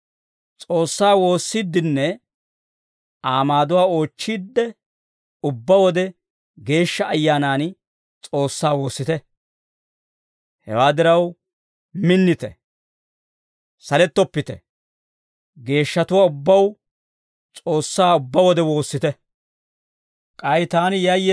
S'oossaa woossiiddenne Aa maaduwaa oochchiidde, ubbaa wode Geeshsha Ayyaanan S'oossaa woossite. Hewaa diraw, minnite; salettoppite; geeshshatuwaa ubbaw S'oossaa ubbaa wode woossite. Roomawe Wotaadaray Olaa Mayuwaa Mayiide